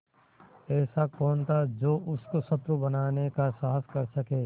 ऐसा कौन था जो उसको शत्रु बनाने का साहस कर सके